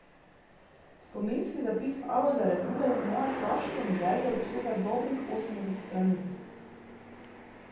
Spominski zapis Alojza Rebule Z moje kraške univerze obsega dobrih osemdeset strani.